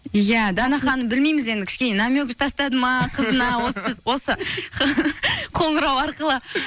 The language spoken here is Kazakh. иә дана ханым білмейміз енді кішкене намек тастады ма қызына осы қоңырау арқылы